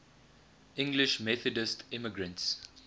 english methodist immigrants